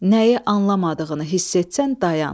Nəyi anlamadığını hiss etsən dayan.